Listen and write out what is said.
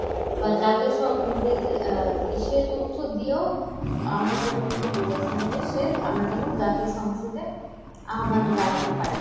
বা যাতে সব সে তথ্য দিয়েও আমাদের প্রধানমন্ত্রী বলেছেন যে সে আমরা যেন জাতীয় সংসদে আহ্বান জানাতে পারি।